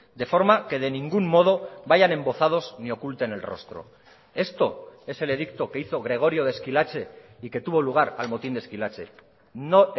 de forma que de ningún modo vayan embozados ni oculten el rostro esto es el edicto que hizo gregorio de esquilache y que tuvo lugar al motín de esquilache no